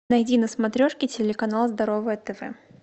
найди на смотрешке телеканал здоровое тв